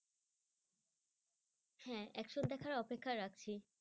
হ্যাঁ দেখার অপেক্ষা রাখছি।